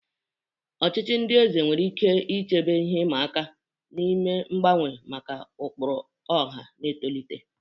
Ọchịchị eze nwere ike iche ihe ịma aka ime mgbanwe maka ụkpụrụ ọha na-etolite.